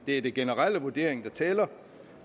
det er den generelle vurdering der tæller